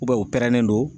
u pɛrɛnnen don